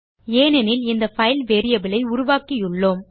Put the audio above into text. எனெனில் இந்த file variable ஐ உருவாக்கியுள்ளோம்